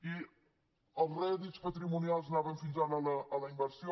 i els rè·dits patrimonials anaven fins ara a la inversió